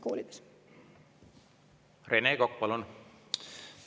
Rene Kokk, palun!